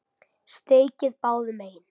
Steikið báðum megin.